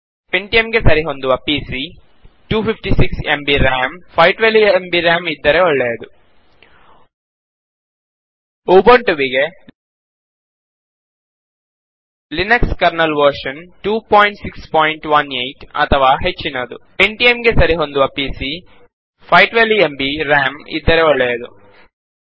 Pentium ಗೆ ಸರಿಹೊಂದುವ ಪಿಸಿಯ 256 ಎಂಬಿ ರಾಮ್ 512 ಎಂಬಿ ರಾಮ್ ಇದ್ದರೆ ಒಳ್ಳೆಯದು ಉಬುಂಟುವಿಗೆ ಲಿನಕ್ಸ್ ಕರ್ನಲ್ ವರ್ಶನ್ 2618 ಅಥವಾ ಹೆಚ್ಚಿನದು ಪೆಂಟಿಯಂ ಗೆ ಸರಿಹೊಂದುವ ಪಿಸಿಯ 512 ಎಂಬಿ ರಾಮ್ ಇದ್ದರೆ ಒಳ್ಳೆಯದು